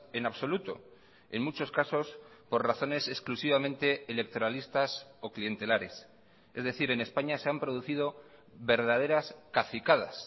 en absoluto en muchos casos por razones exclusivamente electoralistas o clientelares es decir en españa se han producido verdaderas cacicadas